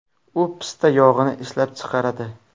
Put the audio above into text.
U pista yog‘ini ishlab chiqaradi.